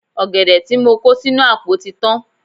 Ọ̀gẹ̀dẹ̀ tí mo kó sínú àpò tí tán.